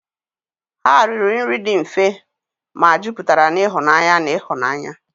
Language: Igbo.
Ha riri nri dị mfe, ma juputara na ịhụnanya na ịhụnanya.